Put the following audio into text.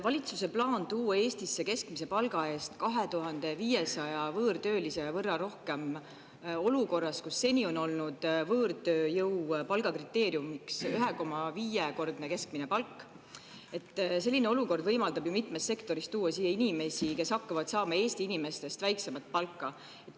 Valitsuse plaan tuua Eestisse 2500 võõrtöölist, keskmist palka – seni on olnud võõrtööjõu palgakriteeriumiks 1,5‑kordne keskmine palk –, võimaldab ju mitmes sektoris tuua siia inimesi, kes hakkavad saama Eesti inimeste väiksemat palka.